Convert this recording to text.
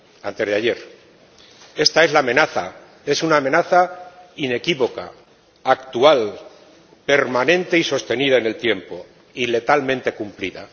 Antes de ayer. Esta es la amenaza, es una amenaza inequívoca, actual, permanente y sostenida en el tiempo y letalmente cumplida.